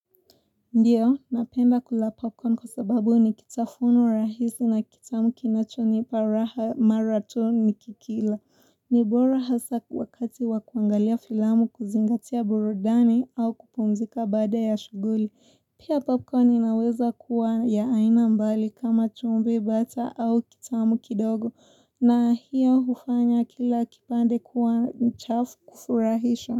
Ndiyo, napenda kula popcorn kwa sababu ni kitafuno rahisi na kitamu kinachonipa raha mara tu nikikila. Nibora hasa wakati wakuangalia filamu kuzingatia burudani au kupumzika baada ya shughuli. Pia popcorn inaweza kuwa ya aina mbali kama chumbe bata au kitamu kidogo na hiyo hufanya kila kipande kuwa mchafu kufurahisho.